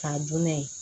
K'a dun n'a ye